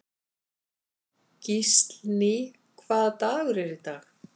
Gíslný, hvaða dagur er í dag?